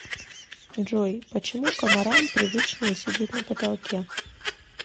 джой почему комарам привычнее сидеть на потолке